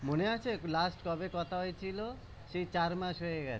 মনে আছে last কবে কথা হয়েছিল? সেই চার মাস হয়ে গেছে